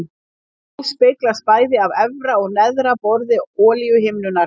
Ljós speglast bæði af efra og neðra borði olíuhimnunnar.